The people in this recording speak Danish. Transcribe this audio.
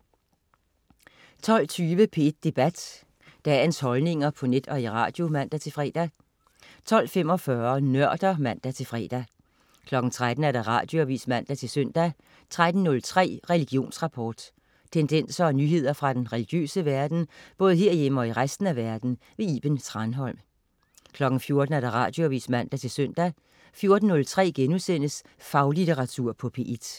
12.20 P1 Debat. Dagens holdninger på net og i radio (man-fre) 12.45 Nørder (man-fre) 13.00 Radioavis (man-søn) 13.03 Religionsrapport. Tendenser og nyheder fra den religiøse verden, både herhjemme og i resten af verden. Iben Thranholm 14.00 Radioavis (man-søn) 14.03 Faglitteratur på P1*